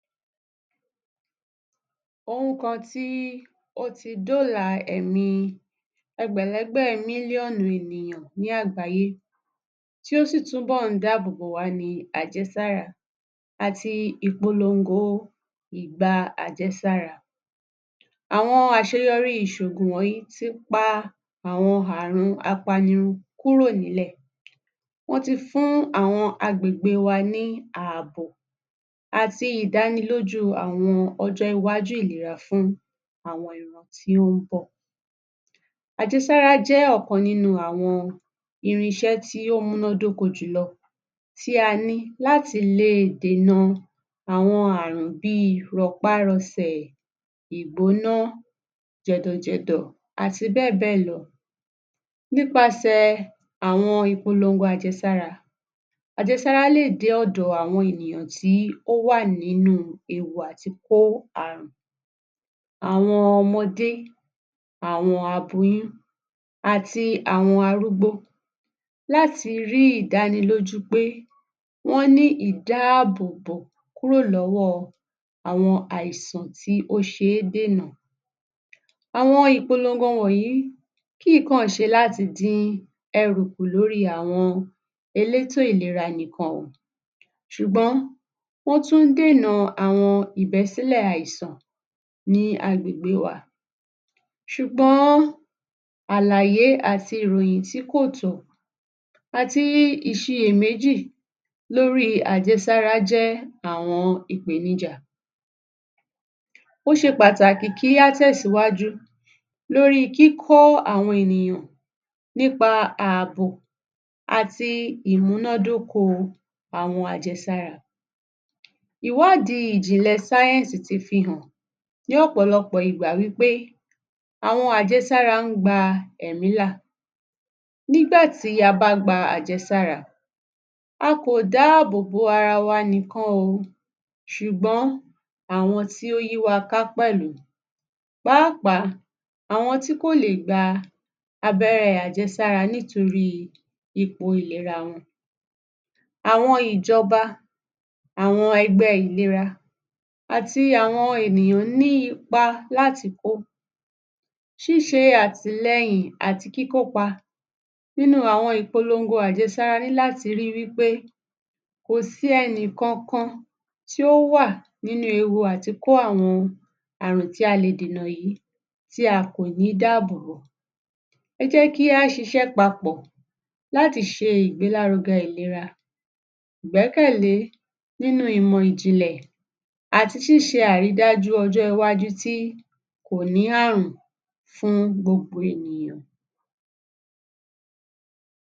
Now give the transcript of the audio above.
Ohun kan tí ó dóòlà ẹ̀mí ẹgbẹ̀lẹ́gbẹ̀ million ènìyàn ní àgbáyé, tí ó sì tún dáàbò wa ni àjẹsára àti ìpologo ìgba àjẹsára. Àwọn àṣeyọ́rí ìsògùn wọ̀nyí ti pa àwọn àrùn apanirun kúrò nílẹ̀. Wọ́n ti fún àwọn agbègbè wa ní ààbò àti ìdánilójú àwọn ọjọ́ ìwájú ìlera fún àwọn ìran tí ó ń bọ̀. Àjẹsára jẹ́ ọ̀kan nínú àwọn irinṣẹ́ tí ó múná dóko júlọ tí a ní láti le dènà àwọn àrùn bí i: rọpárọsẹ̀, ìgbóná, jẹ̀dọ̀jẹ̀dọ̀, àti bẹ́ẹ̀ bẹ́ẹ̀ lọ. Nípasẹ̀ àwọn ìpolongo àjẹsára. Ajẹsára lè dé ọ̀dọ̀ àwọn ènìyàn tí ó wà nínú ewu a tí kó àrùn. Àwọn ọmọdé, àwọn aboyún àti àwọn arúgbó. Láti rí ìdánilòjú pé wọ́n ní ìdáàbòbò kúrò lọ́wọ́ àwọn àìsàn tí ó ṣe é dènà. Àwọn ìpologo wọ̀nyí kì í kàn ṣe láti dín ẹrù kù lórí àwọn elétò ìlera nìkan o, ṣùgbọ́n wọ́n tún dènà àwọn ìbẹ́sílẹ̀ àìsàn ní àgbègbè wa. Ṣùgbọ́n àlàyé àti ìròyìn tí kò tọ́ àti ìṣiméjì lórí àjẹsára jẹ́ àwọn ìpènijà. Ó ṣe pàtàkì kí a tẹ̀síwájú lórí kíkọ́ àwọn ènìyàn nípa ààbò àti ìmúnádókó àwọn àjẹsára. Ìwádìí ìjìnlẹ̀ science ti fi hàn ní ọ̀pọ̀lọpọ̀ ìgbà wí pé àwọn àjẹsára ń gba ẹ̀mí là nígbà tí a bá gba àjẹsàra. A kò dáàbòbò ara wa níkan o ṣùgbọ́n àwọn tí ó yíwa ká pẹ̀lú. Pàápàá àwọn tí kò lè gba abẹ́rẹ́ àjẹsára nítorí ipò ìlera wọn. Àwọn Ìjọba, àwọn Ẹgbẹ́ Ìlera àti àwọn ènìyàn ní ipa láti kó, ṣíṣe àtìlẹ̀yin àti kíkó pa nínú àwọn ìpologo àjẹsára a ní láti rí wí pé kò sí ẹnìkankan tí ó wà nínú ewu àtikó àwọn àrùn tí a lè dènà yìí tí a kò ní dáàbòbò. Ẹ jẹ́ kí a ṣíṣẹ papọ̀ láti ṣe ìgbélárugẹ ìlera, ìgbẹ́kẹ̀lé nínú ìmọ̀ ìjìnlẹ̀ àti ṣíṣe àrídájú ọjọ́ iwájú tí kò ní àrùn fún gbogbo ènìyàn.